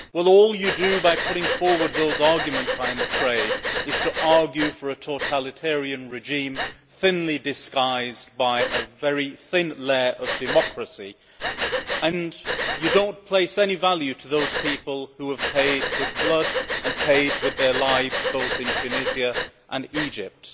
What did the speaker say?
All you do by putting forward those arguments, I am afraid, is argue for a totalitarian regime thinly disguised by a very thin layer of democracy, and you do not place any value on those people who have paid with blood and paid with their lives both in Tunisia and Egypt.